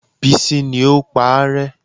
Bísí ní o paárẹ́